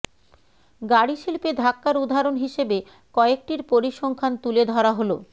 গাড়ি শিল্পে ধাক্কার উদাহরণ হিসেবে কয়েকটির পরিসংখ্যান তুলে ধরা হল